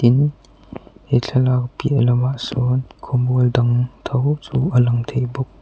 in he thlalak piah loah sawn khawmual dang tho chu a lang thei bawk.